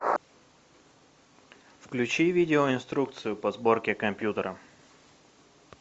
включи видео инструкцию по сборке компьютера